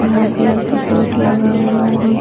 हरा कलर से बोर्ड लगा हुआ है नि --